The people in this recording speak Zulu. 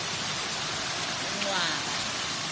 uncwaba